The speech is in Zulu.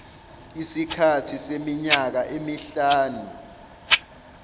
isikhathi seminyaka emihlanu